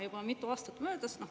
Juba mitu aastat möödas.